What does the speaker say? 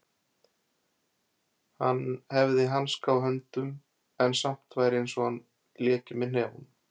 Hann hefði hanska á höndum en samt væri einsog hann léki með hnefunum.